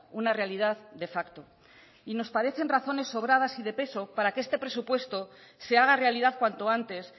una realidad de facto y nos parecen razones sobradas y de peso para que este presupuesto se haga realidad cuanto antes